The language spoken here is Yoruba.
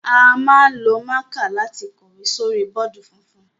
A máa ń lo mạ̀kạ lati kọ̀wé sórí bọọdi funfun.